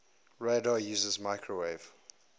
radar uses microwave